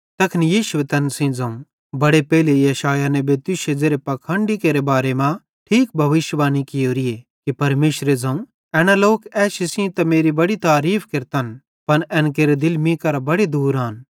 तैखन यीशुए तैन सेइं ज़ोवं बड़े पेइले यशायाह नेबे तुश्शे ज़ेरे पाखंडी केरे बारे मां ठीक भविष्यिवाणी कियोरीए कि परमेशरे ज़ोवं एना लोक एशी सेइं त मेरी बड़ी तारीफ़ केरतन पन एन केरे दिल मीं केरां बड़े दूर आन